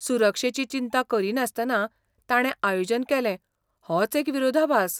सुरक्षेची चिंता करिनासतना ताणें आयोजन केलें होच एक विरोधाभास.